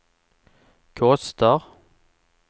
kostar